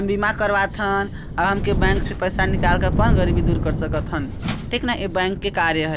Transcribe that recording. बिमा करवा थन अ हम के बैंक से पैसा निकाल के अपन गरीबी दूर कर सकत थन ठीक न ये बैंक के कार्य ह--